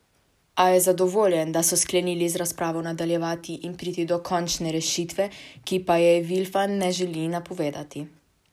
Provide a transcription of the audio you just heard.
A je zadovoljen, da so sklenili z razpravo nadaljevati in priti do končne rešitve, ki pa je Vilfan ne želi napovedovati.